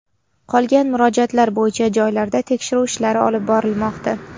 Qolgan murojaatlar bo‘yicha joylarda tekshiruv ishlari olib borilmoqda.